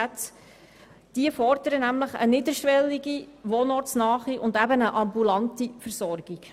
Denn diese fordern eine niederschwellige, wohnortnahe und eben ambulante Versorgung.